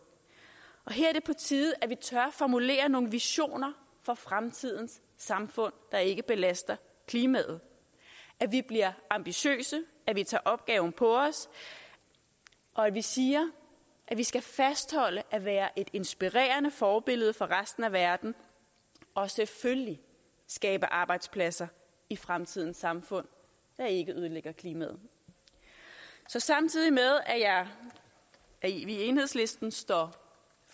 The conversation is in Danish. her er det på tide at vi tør formulere nogle visioner for fremtidens samfund der ikke belaster klimaet at vi bliver ambitiøse at vi tager opgaven på os og at vi siger at vi skal fastholde at være et inspirerende forbillede for resten af verden og selvfølgelig skabe arbejdspladser i fremtidens samfund der ikke ødelægger klimaet så samtidig med at vi i enhedslisten står